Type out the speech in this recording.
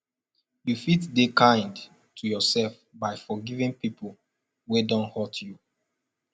you fit de kind to yourself by forgiving pipo wey don hurt you